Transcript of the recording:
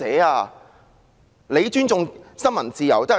她說自己尊重新聞自由？